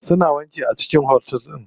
Suna wanki a cikin otel din.